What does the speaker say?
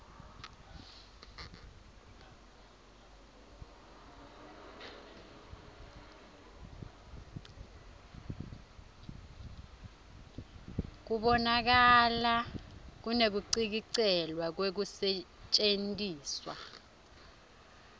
kubonakala kunekucikelelwa kwekusetjentiswa